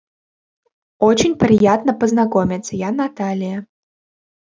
очень приятно познакомиться я наталья